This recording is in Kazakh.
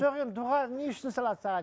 жоқ енді дұға не үшін салады саған